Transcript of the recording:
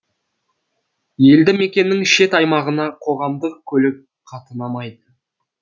елді мекеннің шет аймағына қоғамдық көлік қатынамайды